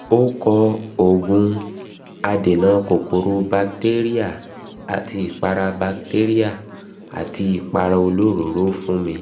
ó kọ òògùn adènà kòkòrò batéríà àti ìpara batéríà àti ìpara olóròóró fún mi